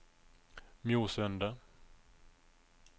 Mjosundet